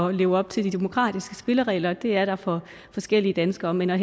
at leve op til de demokratiske spilleregler og det er der for forskellige danskere men at